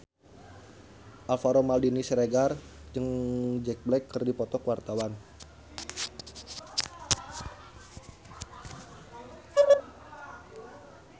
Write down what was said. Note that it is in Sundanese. Alvaro Maldini Siregar jeung Jack Black keur dipoto ku wartawan